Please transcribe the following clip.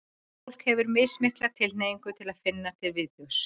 fólk hefur mismikla tilhneigingu til að finna til viðbjóðs